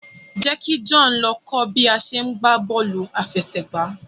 jẹ kí John ló kọ bi a ṣe gbà bóòlù afẹsẹgba